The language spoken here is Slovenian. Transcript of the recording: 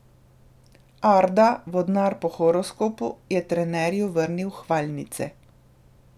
Arda, vodnar po horoskopu, je trenerju vrnil hvalnice.